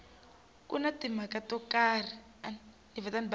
ku na timhaka to karhi